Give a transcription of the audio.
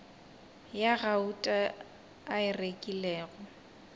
ya gauta a e rekilego